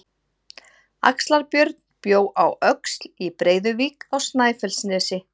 Axlar-Björn bjó á Öxl í Breiðuvík á Snæfellsnesi.